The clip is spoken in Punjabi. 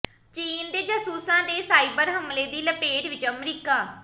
ਚੀਨ ਦੇ ਜਾਸੂਸਾਂ ਦੇ ਸਾਈਬਰ ਹਮਲੇ ਦੀ ਲਪੇਟ ਵਿਚ ਅਮਰੀਕਾ